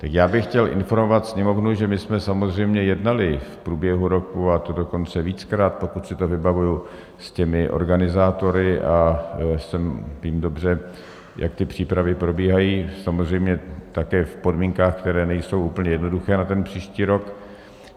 Tak já bych chtěl informovat Sněmovnu, že my jsme samozřejmě jednali v průběhu roku, a to dokonce víckrát, pokud si to vybavuji, s těmi organizátory a vím dobře, jak ty přípravy probíhají, samozřejmě také v podmínkách, které nejsou úplně jednoduché na ten příští rok.